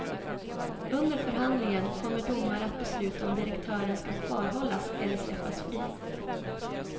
Under förhandlingen kommer domare att besluta om direktören ska kvarhållas eller släppas fri.